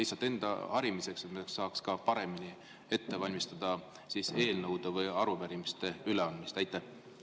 See on lihtsalt enda harimiseks, et saaks eelnõude ja arupärimiste üleandmist paremini ette valmistada.